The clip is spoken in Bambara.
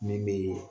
Min bee